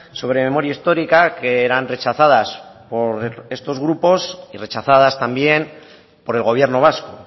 sobre memoria histórica que eran rechazadas por estos grupos y rechazadas también por el gobierno vasco